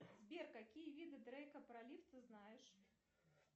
сбер какие виды дрейка пролив ты знашеь